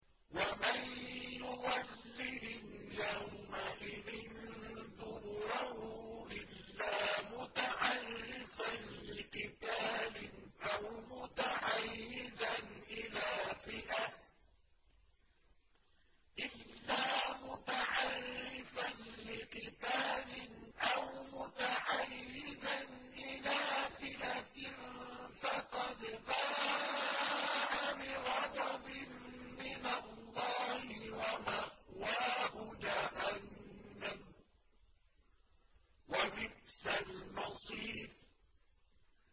وَمَن يُوَلِّهِمْ يَوْمَئِذٍ دُبُرَهُ إِلَّا مُتَحَرِّفًا لِّقِتَالٍ أَوْ مُتَحَيِّزًا إِلَىٰ فِئَةٍ فَقَدْ بَاءَ بِغَضَبٍ مِّنَ اللَّهِ وَمَأْوَاهُ جَهَنَّمُ ۖ وَبِئْسَ الْمَصِيرُ